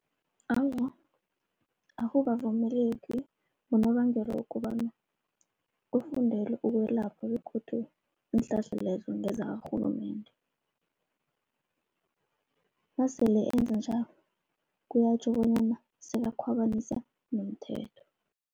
Awa, akukavumeleki ngonobangela wokobana kufundelwe ukwelapha begodu iinhlahla lezo ngezakarhulumende. Nasele enza njalo kuyatjho bonyana sekakhwabanisa nomthetho.